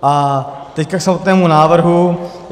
A teď k samotnému návrhu.